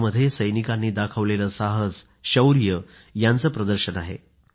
यामध्ये सैनिकांनी दाखवलेलं साहस शौर्य यांचं प्रदर्शन आहे